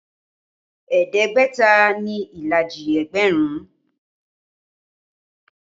Ẹ̀ẹ́dẹ́gbẹ̀ta ni ìlàjì ẹgbẹ̀rún